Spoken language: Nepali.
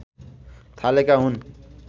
थालेका हुन्